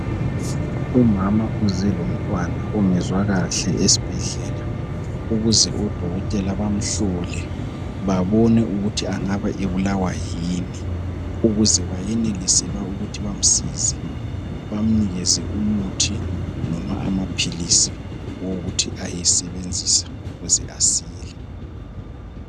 Umama uze lomntwana ongezwa kahle esibhedlela, ukuze odokotela bamhlole babone ukuthi angabe ebulawa yini ukuze bayenelise ukuthi bamsize bamnikeze umuthi noma amaphilisi owokuthi ayesebenzisa ukuze asile.